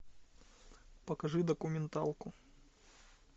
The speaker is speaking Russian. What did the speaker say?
покажи документалку